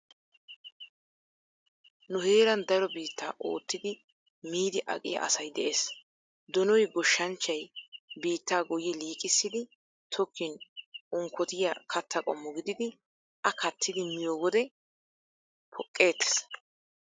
Nu heeran daro biittaa ootti miidi aqiyaa asay de'ees. Donoy goshshanchchay biittaa gooyyi liiqissidi tokkin unkkotiyaa katta qommo gididi a kattidi miyo wode poqqettees.